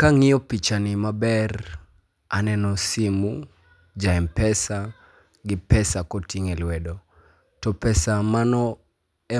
Kaneno pichani maber, aneno simu, ja M-Pesa , gi pesa koting'o e lwedo. To pesa mano